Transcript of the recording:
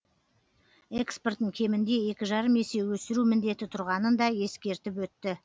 экспортын кемінде екі жарым есе өсіру міндеті тұрғанын да ескертіп өтті